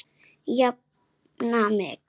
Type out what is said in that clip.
Jafna mig!